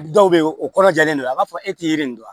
Dɔw bɛ yen o kɔrɔjalen don a b'a fɔ e tɛ yiri nin dɔn